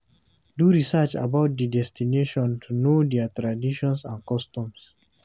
Do research about di destination to know their traditions and customs